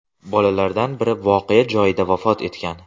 Bolalardan biri voqea joyida vafot etgan.